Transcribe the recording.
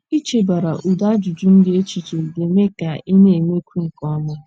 Ichebara ụdị ajụjụ ndị a echiche ga - eme ka ị na - emekwu nke ọma.